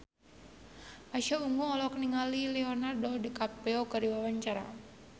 Pasha Ungu olohok ningali Leonardo DiCaprio keur diwawancara